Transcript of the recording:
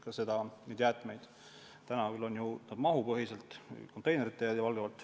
Täna käib see ju valdavalt mahupõhiselt, konteinerite järgi.